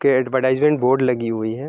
के advertisement board लगी हुई है।